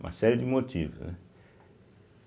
Uma série de motivos, né.